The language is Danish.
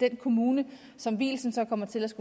den kommune som vielsen så kommer til at skulle